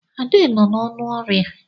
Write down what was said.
Ade nọ n'ọnụ ọrịa.